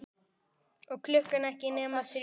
Og klukkan ekki nema þrjú.